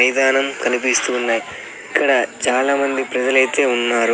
మైదానం కనిపిస్తూ ఉన్నై ఇక్కడ చాలామంది ప్రజలైతే ఉన్నారు.